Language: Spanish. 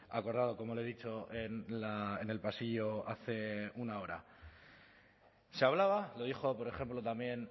acordado como le he dicho en el pasillo hace una hora se hablaba lo dijo por ejemplo también